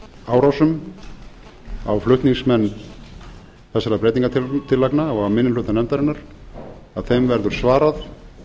árásum á flutningsmenn þessara breytingartillagna og á minni hluta nefndarinnar að þeim verður svarað